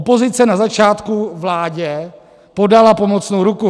Opozice na začátku vládě podala pomocnou ruku.